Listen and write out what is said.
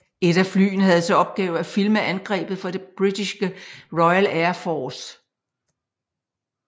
Et af flyene havde til opgave at filme angrebet for det britiske Royal Air Force